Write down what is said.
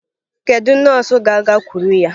Kedu nọọsụ ga-agakwuru ya?